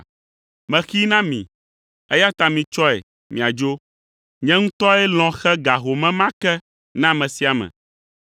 Mexee na mi, eya ta mitsɔe miadzo. Nye ŋutɔe lɔ̃ xe ga home ma ke na ame sia ame.